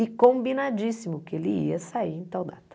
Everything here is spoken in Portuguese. E combinadíssimo que ele ia sair em tal data.